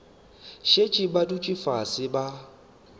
šetše ba dutše fase ba